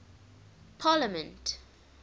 parliament